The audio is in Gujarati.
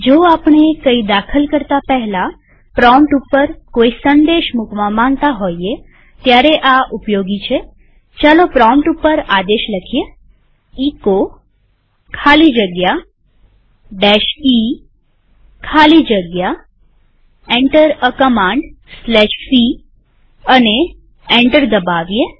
જો આપણે કઈ દાખલ કરતા પહેલા પ્રોમ્પ્ટ ઉપર કોઈ સંદેશ મુકવા માંગતા હોઈએ ત્યારે આ ઉપયોગી છેપ્રોમ્પ્ટ ઉપર આદેશ લખીએ એચો ખાલી જગ્યા e ખાલી જગ્યા Enter એ commandc અને એન્ટર દબાવીએ